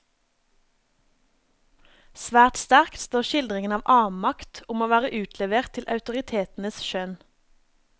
Svært sterkt står skildringene av avmakt, om å være utlevert til autoritetenes skjønn.